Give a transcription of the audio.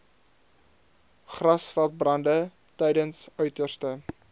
grasveldbrande tydens uiterste